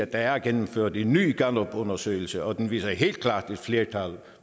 der er gennemført en ny gallupundersøgelse og den viser helt klart et flertal